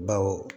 Bawo